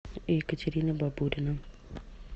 екатерина бабурина